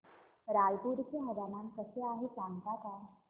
रायपूर चे हवामान कसे आहे सांगता का